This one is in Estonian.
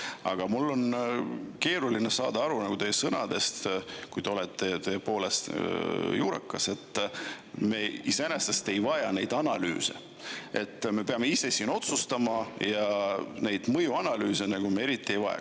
Aga mul on keeruline saada aru teie sõnadest, kuigi te olete juurakas, et me iseenesest ei vaja neid analüüse, et me peame ise siin otsustama ja neid mõjuanalüüse me nagu eriti ei vaja.